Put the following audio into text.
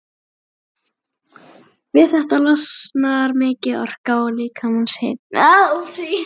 Við þetta losnar mikil orka og líkamshitinn eykst.